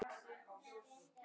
Og gafst aldrei upp.